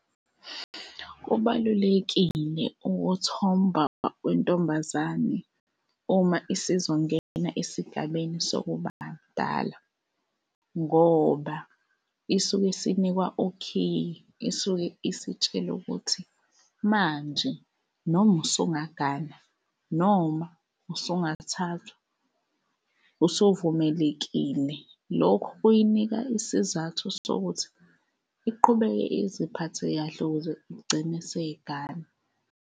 Kubalulekile ukuthomba kwentombazane uma isizongena esigabeni sokuba mdala ngoba isuke isinikwa ukhiye, isuke isitshelwa ukuthi manje noma usungagana noma usungathathwa, usuvumelekile. Lokhu kuyinika isizathu sokuthi iqhubeke iziphathe kahle ukuze igcine seyigana.